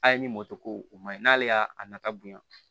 A' ye ni mɔto ko o man ɲi n'ale y'a a nafa bonya